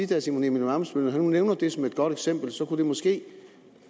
herre simon emil ammitzbøll at når han nu nævner det som et godt eksempel så kunne det måske